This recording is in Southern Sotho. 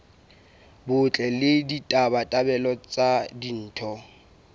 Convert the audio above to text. botle le ditabatabelo tsa ditho